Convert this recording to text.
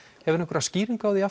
hefurðu einhverja skýringu á því